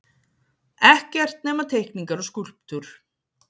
Ekkert nema teikningar og skúlptúr.